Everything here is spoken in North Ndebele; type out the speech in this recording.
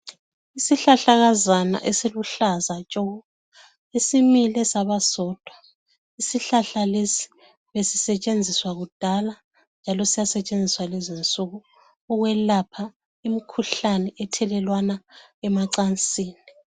Isihlahlakazana esiluhlaza tshoko esimile saba sodwa. Isihlahla lesi besisetshenziswa kudala njalo sisasetshenziswa kulezi insuku ukwelapha imikhuhlane ethelelwana emacansini.